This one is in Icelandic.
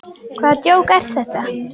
Hvaða djók er þetta?